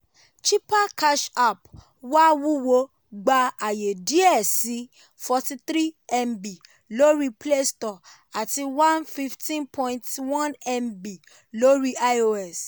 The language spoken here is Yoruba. chipper cash app wà wúwo gbà ààyè díẹ̀ sii forty three mb lórí play store àti one hundred fifteen point one mb lórí ios.